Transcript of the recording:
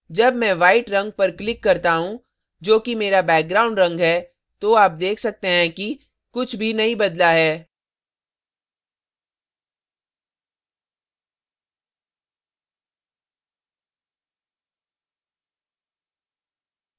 जब मैं white white रंग पर click करता हूँ जो कि मेरा background रंग है तो आप देख सकते हैं कि कुछ भी नहीं बदला है